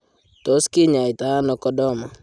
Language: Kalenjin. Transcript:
Tos kinyaita ano Chordoma?